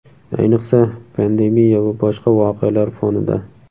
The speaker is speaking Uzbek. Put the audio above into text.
Ayniqsa, pandemiya va boshqa voqealar fonida.